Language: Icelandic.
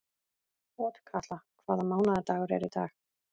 Otkatla, hvaða mánaðardagur er í dag?